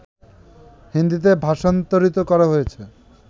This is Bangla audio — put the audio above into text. হিন্দীতে ভাষান্তরিত করা হয়েছে